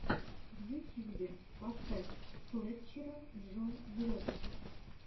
на ютьюбе поставь фэтчера джо влогс